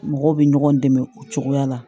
Mɔgɔw bɛ ɲɔgɔn dɛmɛ o cogoya la